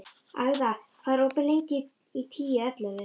Agða, hvað er opið lengi í Tíu ellefu?